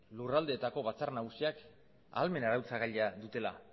lurraldeetako batzar nagusiak ahalmen arautzagailea dutela